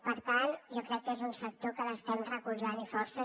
per tant jo crec que és un sector que l’estem recolzant i força